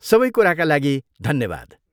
सबै कुराका लागि धन्यवाद।